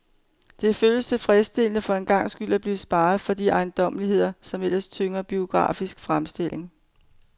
Det føles tilfredsstillende for en gangs skyld at blive sparet for de ejendommeligheder, som ellers tynger biografiske fremstillinger.